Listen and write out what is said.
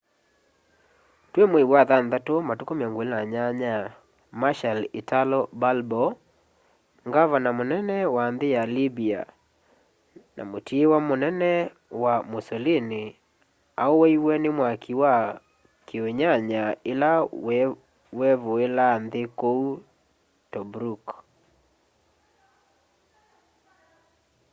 twi mwei wa wathanthatũ matuku 28 marshall italo balbo ngavana mũnene wa nthi ya libya na mũtiiwa ũnene wa mussolini auwaiwe ni mwaki wa kiunyanya ila wevuilaa nthi kuu tobruk